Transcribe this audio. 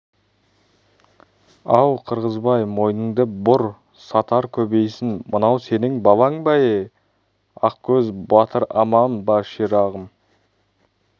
ау қырғызбай мойныңды бұр сатар көбейсін мынау сенің балаң ба е-е ақкөз батыр аман ба ширағым